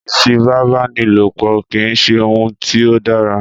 Ìfipábánilopọ̀ kìí ṣe òun tí ó dára.